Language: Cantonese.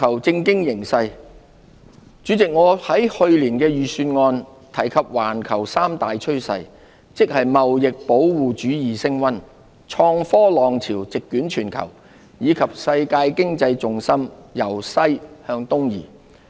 主席，我在去年預算案提及環球三大趨勢，即貿易保護主義升溫、創科浪潮席捲全球，以及世界經濟重心由西向東移。